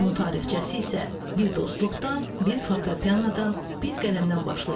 Onun tarixçəsi isə bir dostluqdan, bir fortepianodan, bir qələmdən başlayır.